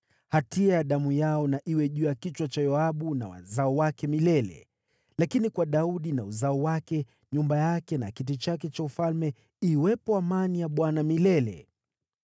Hatia ya damu yao na iwe juu ya kichwa cha Yoabu na wazao wake milele. Lakini kwa Daudi na uzao wake, nyumba yake na kiti chake cha ufalme, iwepo amani ya Bwana milele.”